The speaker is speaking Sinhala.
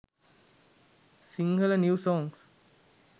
sinhala new songs